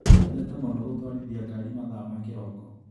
Nyendete mũno gũtwarithia ngarĩ mathaa ma kĩroko.